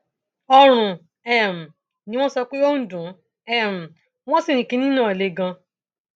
ọrun um ni wọn sọ pé ó ń dùn um ún wọn sì ní kinní náà le ganan